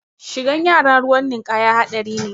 Shigan yara ruwan ninkaya haɗari ne